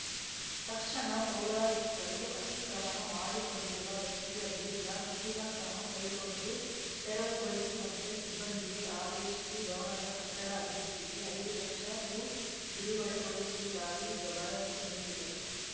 ತಕ್ಷಣ ಪೌರಾಯುಕ್ತರು ಅತಿಕ್ರಮಣ ಮಾಡಿಕೊಂಡಿರುವ ವ್ಯಕ್ತಿಯ ವಿರುದ್ಧ ಕಠಿಣ ಕ್ರಮ ಕೈಗೊಂಡು ತೆರವುಗೊಳಿಸುವಂತೆ ಸಿಬ್ಬಂದಿಗೆ ಆದೇಶಿಸಿ ಭವನದ ಕಟ್ಟಡ ಅಭಿವೃದ್ಧಿಗೆ ಐದು ಲಕ್ಷ ರು ಬಿಡುಗಡೆಗೊಳಿಸುವುದಾಗಿ ಭರವಸೆ ನೀಡಿದರು